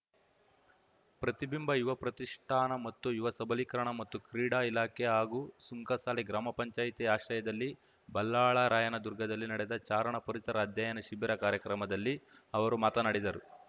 ಪ್ರತಿಬಿಂಬ ಯುವ ಪ್ರತಿಷ್ಠಾನ ಮತ್ತು ಯುವ ಸಬಲೀಕರಣ ಮತ್ತು ಕ್ರೀಡಾ ಇಲಾಖೆ ಹಾಗೂ ಸುಂಕಸಾಲೆ ಗ್ರಾಮ ಪಂಚಾಯತಿ ಆಶ್ರಯದಲ್ಲಿ ಬಲ್ಲಾಳರಾಯನ ದುರ್ಗದಲ್ಲಿ ನಡೆದ ಚಾರಣ ಪರಿಸರ ಅಧ್ಯಯನ ಶಿಬಿರ ಕಾರ್ಯಕ್ರಮದಲ್ಲಿ ಅವರು ಮಾತನಾಡಿದರು